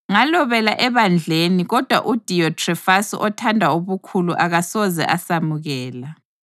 Ngalobela ebandleni kodwa uDiyothrefasi othanda ubukhulu akasoze asemukela.